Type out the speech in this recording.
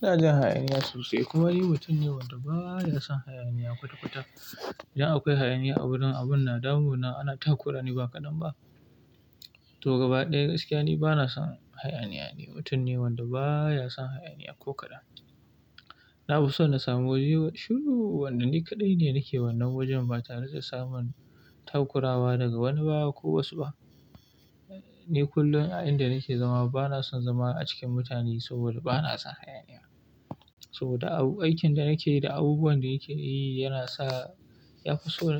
Ina jin hayaniya sosai kuma ni mutum ne wanda ba ya son hayaniya kwata-kwata. Idan akwai hayaniya awurin abun na damuna, ana takurani ba kaɗan ba. To gaba ɗaya gaskiya ne bana son hayaniya ne, mutum ne wanda ba ya son hayaniya ko kaɗan. Na fi so na samu wuri shiru, wannan ni kaɗai ne nake wannan wajen ba tare da samun takurawa daga wani baya ko wasu ba. Ni kullum a inda nake zama bana son zama a cikin mutane saboda bana son hayaniya. Saboda ab aikin da nake yi da abubuwan da nake yi yana sa ya fi so